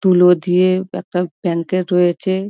তুলো দিয়ে একটা ব্যাংকেট রয়েছে ।